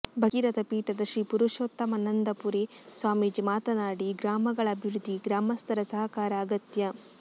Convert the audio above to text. ಭಗೀರಥ ಪೀಠದ ಶ್ರೀ ಪುರುಷೋತ್ತಮಾನಂದಪುರಿ ಸ್ವಾಮೀಜಿ ಮಾತನಾಡಿ ಗ್ರಾಮಗಳ ಅಭಿವೃದ್ಧಿಗೆ ಗ್ರಾಮಸ್ಥರ ಸಹಕಾರ ಅಗತ್ಯ